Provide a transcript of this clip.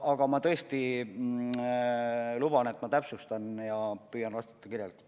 Aga ma tõesti luban, et ma täpsustan selle üle ja püüan vastata kirjalikult.